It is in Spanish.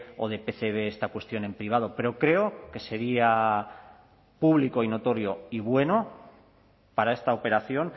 o de pcb esta cuestión en privado pero creo que sería público y notorio y bueno para esta operación